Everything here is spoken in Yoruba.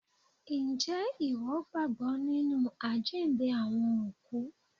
Ǹjẹ́ ìwọ gbàgbọ́ nínu àjíǹde Àwọn ÒKÚ?